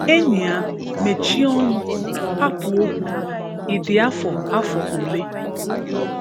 Enyịa, mechie ọnụ, hapụ okwu. Ị dị afọ afọ ole?